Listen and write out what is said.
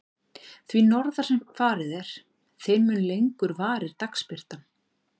Því norðar sem farið er, þeim mun lengur varir dagsbirtan.